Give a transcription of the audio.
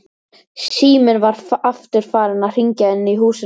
Síminn var aftur farinn að hringja inni í húsinu.